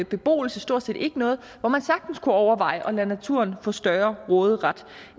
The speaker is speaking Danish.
beboelse stort set ikke noget og hvor man sagtens kunne overveje at lade naturen få større råderet